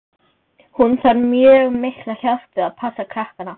Hún þarf mjög mikla hjálp við að passa krakkana.